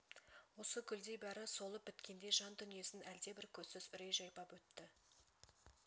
осы гүлдей бәрі солып біткендей жан дүниесін әлдебір көзсіз үрей жайпап өтті